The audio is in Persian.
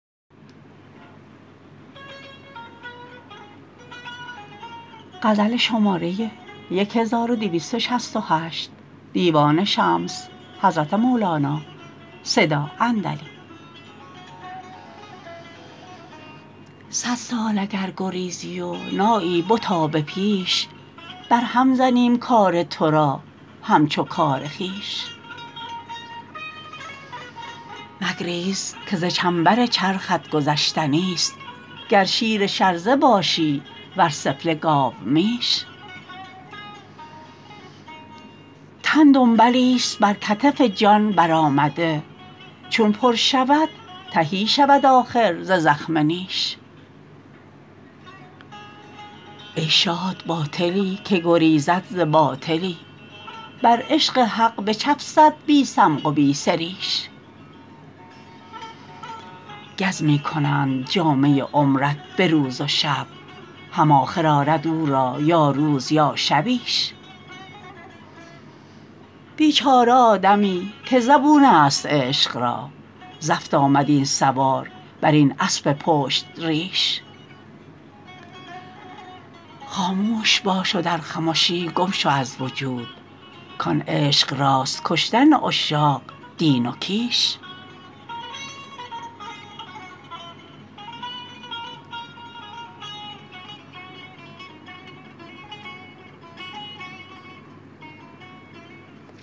صد سال اگر گریزی و نایی بتا به پیش برهم زنیم کار تو را همچو کار خویش مگریز که ز چنبر چرخت گذشتنیست گر شیر شرزه باشی ور سفله گاومیش تن دنبلیست بر کتف جان برآمده چون پر شود تهی شود آخر ز زخم نیش ای شاد باطلی که گریزد ز باطلی بر عشق حق بچفسد بی صمغ و بی سریش گز می کنند جامه عمرت به روز و شب هم آخر آرد او را یا روز یا شبیش بیچاره آدمی که زبونست عشق را زفت آمد این سوار بر این اسب پشت ریش خاموش باش و در خمشی گم شو از وجود کان عشق راست کشتن عشاق دین و کیش